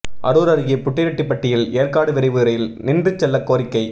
அரூா் அருகே புட்டிரெட்டிப்பட்டியில் ஏற்காடு விரைவு ரயில் நின்று செல்லக் கோரிக்கை